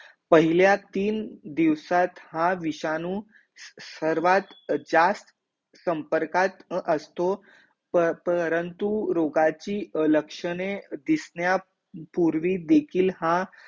पहिला तीन दिवसात हा विषाणू सर्वात जास्त संपर्कात असतो, प परंतु रोगाची लक्षणे दिसण्या पूर्वी हा